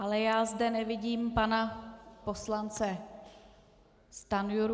Ale já zde nevidím pana poslance Stanjuru.